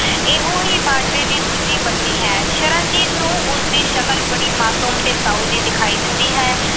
ਇਹੋ ਹੀ ਬਾਜਵੇ ਦੀ ਦੂਜੀ ਪਤਨੀ ਹੈ। ਸ਼ਰਨਜੀਤ ਨੂੰ ਉਸਦੀ ਸ਼ਕਲ ਬੜੀ ਮਾਸੂਮ ਤੇ ਸਾਊ ਜੀ ਦਿਖਾਈ ਦਿੰਦੀ ਹੈ।